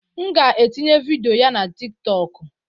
M ga-etinye vidiyo na TikTokụ.